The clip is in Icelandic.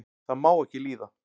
það má ekki líða